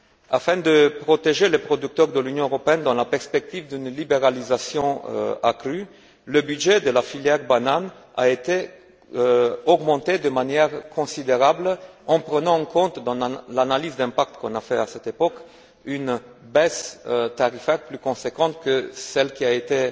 Afin de protéger les producteurs de l'Union européenne dans la perspective d'une libéralisation accrue, le budget de la filière banane a été augmenté de manière considérable en prenant en compte, dans l'analyse d'impact menée à cette époque, une baisse tarifaire plus conséquente que celle qui avait été